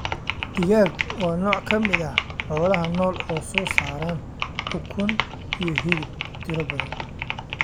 Digaag waa nooc ka mid ah xoolaha nool oo soo saara ukun iyo hilib tiro badan.